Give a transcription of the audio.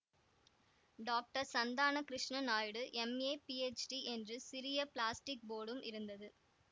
doctor Santhana Krishnanaidu M A PhD என்று சிறிய plastic போர்டும் இருந்தது